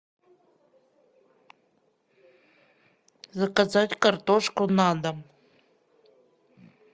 заказать картошку на дом